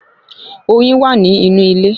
Oyin wa nínú ilé